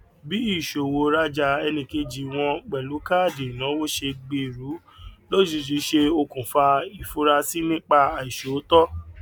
bí ìṣọwọ rajà ẹnìkejì wọn pẹlú káàdì ìnáwó ṣe gbèrú lójijì ṣe okùnfà ìfurasí nípa àìṣòótọ